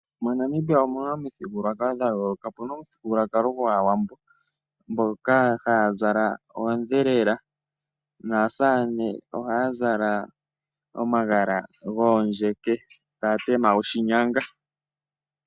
MoNamibia omuna omithigululwakalo dha yooloka opuna omuthigululwakalo gwaawambo mboka haya zala oodhelela naasamane ohaya zala omagala goondjeke taya tema oshinyanga.